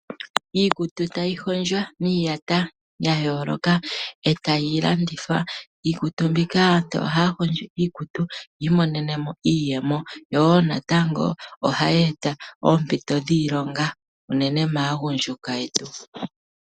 Iikutu tayi hondjwa miiyata ya yooloka etayi landithwa. Iikutu mbika aantu ohaa hondjo iikutu yiimonene mo iiyemo. Yo wo natango ohayi eta oompito dhiilonga unene tuu maagundjuka yetu.